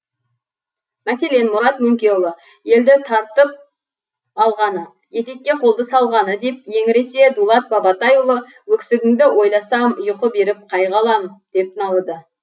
мәселен мұрат мөңкеұлы еділді тартып алғаны етекке қолды салғаны деп еңіресе дулат бабатайұлы өксігіңді ойласам ұйқы беріп қайғы алам деп налыды